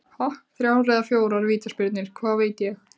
Þrjár eða fjórar vítaspyrnur, hvað veit ég?